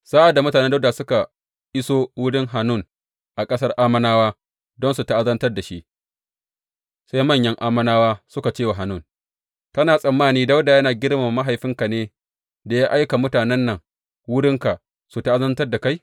Sa’ad da mutanen Dawuda suka iso wurin Hanun a ƙasar Ammonawa don su ta’azantar da shi, sai manyan Ammonawa suka ce wa Hanun, Kana tsammani Dawuda yana girmama mahaifinka ne da ya aika mutanen nan wurinka su ta’azantar da kai?